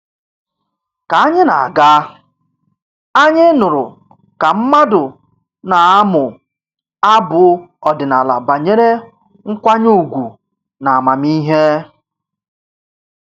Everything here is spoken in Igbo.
Ka anyị na-aga, anyị nụrụ ka mmadụ na-amụ abụ ọdịnala banyere nkwanye ùgwù na amamihe